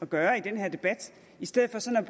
at gøre i den her debat i stedet